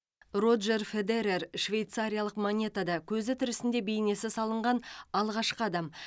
роджер федерер швейцариялық монетада көзі тірісінде бейнесі салынған алғашқы адам